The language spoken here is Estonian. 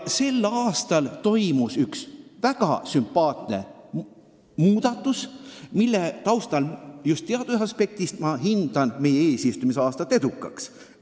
Sel aastal toimus just teaduse aspektist üks väga sümpaatne muudatus, mille taustal ma hindan meie eesistumise aasta edukaks.